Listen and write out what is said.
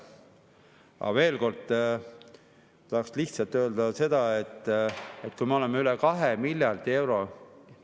Aga veel kord tahaks lihtsalt öelda seda, et me oleme üle 2 miljardi euro …